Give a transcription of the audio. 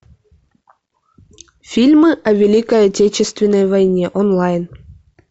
фильмы о великой отечественной войне онлайн